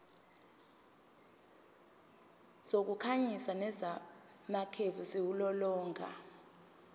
zokukhanyisa nezamakhefu ziwulolonga